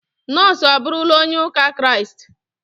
Nonso abụrụla onye ụka kiriasti